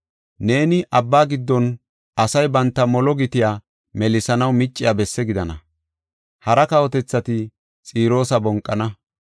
Neeni abba giddon asay banta molo gitiya melisanaw micciya bessi gidana. Hara kawotethati Xiroosa bonqana.